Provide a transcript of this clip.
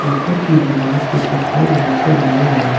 ऊपर की दीवार को सफेद रंग से रंग गया है।